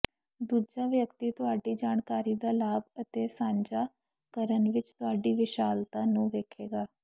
ਦੂਜਾ ਵਿਅਕਤੀ ਤੁਹਾਡੀ ਜਾਣਕਾਰੀ ਦਾ ਲਾਭ ਅਤੇ ਸਾਂਝਾ ਕਰਨ ਵਿਚ ਤੁਹਾਡੀ ਵਿਸ਼ਾਲਤਾ ਨੂੰ ਵੇਖੇਗਾ